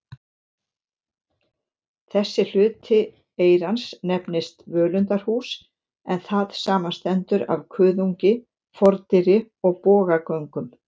Þessi hluti eyrans nefnist völundarhús, en það samanstendur af kuðungi, fordyri og bogagöngum.